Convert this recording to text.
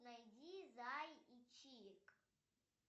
найди зай и чик